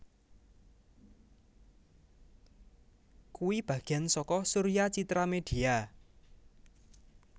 kui bagian soko Surya Citra Media